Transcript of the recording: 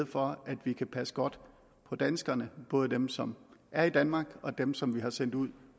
for at vi kan passe godt på danskerne både dem som er i danmark og dem som vi har sendt ud